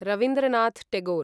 Rabindranath Tagore